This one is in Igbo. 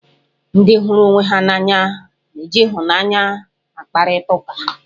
Ndị hụrụ onwe ha n'anya na-eji ịhụnanya akparịta ụka.